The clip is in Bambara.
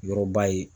Yɔrɔba ye